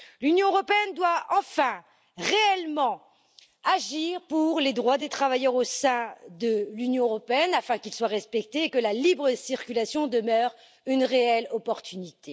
L'Union européenne doit enfin réellement agir pour les droits des travailleurs au sein de l'Union européenne afin qu'ils soient respectés et que la libre circulation demeure une réelle opportunité.